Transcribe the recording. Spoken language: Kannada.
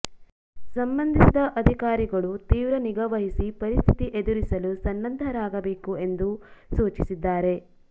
ಸಂಬಂ ಧಿಸಿದ ಅ ಧಿಕಾರಿಗಳು ತೀವ್ರ ನಿಗಾ ವಹಿಸಿ ಪರಿಸ್ಥಿತಿ ಎದುರಿಸಲು ಸನ್ನದ್ಧರಾಗಿರಬೇಕು ಎಂದು ಸೂಚಿಸಿದ್ದಾರೆ